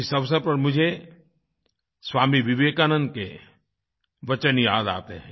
इस अवसर पर मुझे स्वामी विवेकानंद के वचन याद आते हैं